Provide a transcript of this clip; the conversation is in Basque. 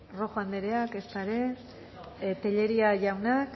rojo andrea ezta ere telleria jauna